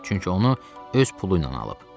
Çünki onu öz pulu ilə alıb.